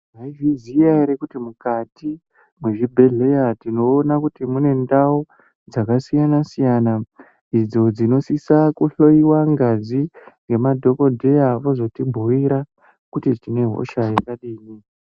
Maizviziya ere kuti mukati mezvibhedhlera tinona kuti mune ndau dzakasiyana-siyana, idzodzinosisa kuhloiwa ngazi ngemadhogodheya vozotibhuira kuti tinehosha yakadini.